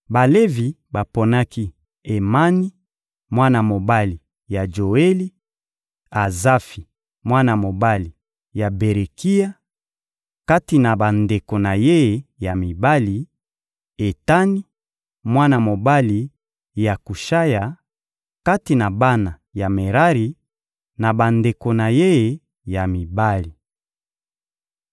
Balevi baponaki Emani, mwana mobali ya Joeli; Azafi, mwana mobali ya Berekia, kati na bandeko na ye ya mibali; Etani, mwana mobali ya Kushaya, kati na bana ya Merari, na bandeko na ye ya mibali.